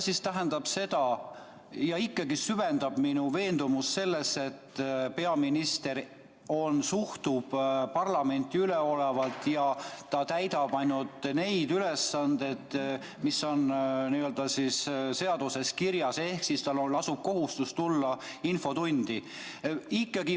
Ikkagi see süvendab minu veendumust selles, et peaminister suhtub parlamenti üleolevalt ja täidab ainult neid ülesanded, mis on seaduses kirjas, ehk tal lasub kohustus tulla infotundi.